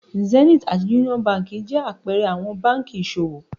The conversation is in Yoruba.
Zenith àti Union Báńkì jẹ àpẹẹrẹ àwọn báńkì ìṣòwò.